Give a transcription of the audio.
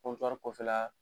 Kɔntuwari kɔfɛla